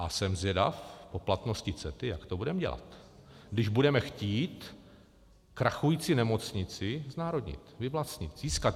A jsem zvědav po platnosti CETA, jak to budeme dělat, když budeme chtít krachující nemocnici znárodnit, vyvlastnit, získat.